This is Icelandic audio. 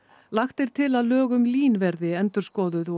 lagt er til að lög um LÍN verði endurskoðuð og